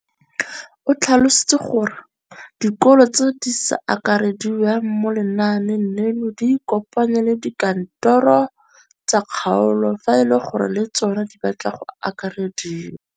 O tlhalositse gore dikolo tse di sa akarediwang mo lenaaneng leno di ikopanye le dikantoro tsa kgaolo fa e le gore le tsona di batla go akarediwa.